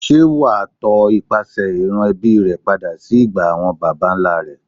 Ṣé wàá tọ ipasẹ̀ ìran ẹbí rẹ padà sí ìgbà àwọn baba ńlá rẹ.